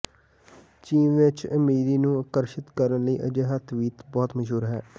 ਚੀਨ ਵਿਚ ਅਮੀਰੀ ਨੂੰ ਆਕਰਸ਼ਿਤ ਕਰਨ ਲਈ ਅਜਿਹਾ ਤਵੀਤ ਬਹੁਤ ਮਸ਼ਹੂਰ ਹੈ